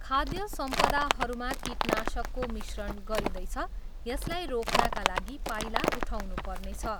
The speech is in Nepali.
खाध्य सम्पदाहरूमा कीटनाशकको मिश्रण गरिँदैछ, यसलाई रोक्नाका लागि पाइला उठाउनु पर्नेछ।